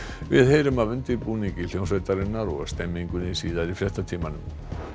við heyrum af undirbúningi hljómsveitarinnar og stemningunni síðar í fréttatímanum